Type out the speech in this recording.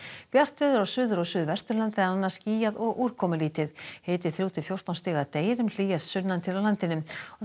bjart veður á Suður og Suðvesturlandi en annars skýjað og úrkomulítið hiti þrjú til fjórtán stig að deginum hlýjast sunnan til á landinu